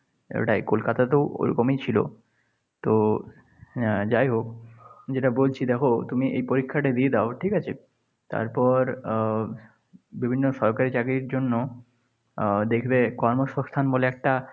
ওটাই কলকাতাতেও ওরকমই ছিল। তো আহ যাই হোক যেটা বলছি দেখ তুমি এ পরীক্ষাটা দিয়ে দাও ঠিক আছে? তারপর আহ বিভিন্ন সরকারি চাকরির জন্য আহ দেখবে কর্মসংস্থান বলে একটা